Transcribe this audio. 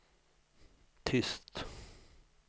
tyst